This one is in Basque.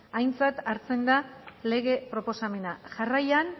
aintzat hartzen da lege proposamena jarraian